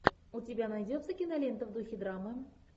у тебя найдется кинолента в духе драмы